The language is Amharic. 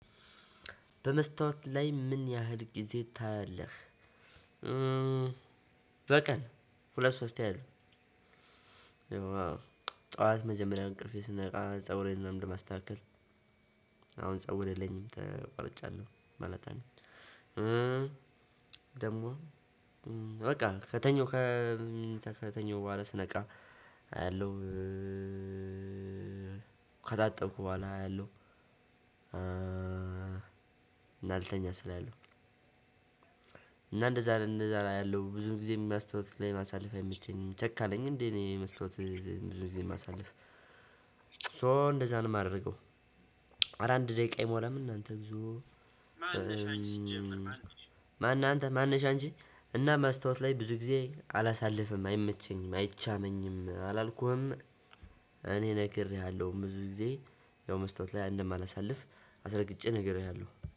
በመስታወት ላይ ምን ያህል ጊዜ ታያለህ? በቀን ሁለት ሶስት ያህል ጠዋት መጀመሪያ ከእንቅልፌ ስነቃ ፀጉሬን ነው ማስተካከል። አሁን ፀጉር የለኝም ተቆርጫለሁ ማለት ነው። ደግሞ በቃ ከተኛው ከተኛው በኋላ ስነቃ አያለሁ። ከታጠብኩ በኋላ አያለሁ። እና ልተኛ ስል አያለው። እና እንደዛ ነው እንደዛ አያለው ብዙ ጊዜ መስታወት ላይ ማሳለፍ አይምቸኝምኝ። ቸካ ነኝ እንዴ? እኔ መስታወት ላይ ብዙ ጊዜ ማሳልፍ ሶ እንደዛ ነው የማደርገው። አረ አንድ ደቂቃ አይሞላም እናንተ እግዞ። ማነህ አንተ ማነሽ አንቺ። እና ማስታወት ላይ ብዙ ጊዜ አላሳልፍም አይመቸኝም አይቻመኝም አላልኩህም። እኔ ነግሬሃለሁ ብዙ ጊዜ ያው መስታወት ላይ እንደማላሳልፍ አስረግጬ ነግሬሃለሁ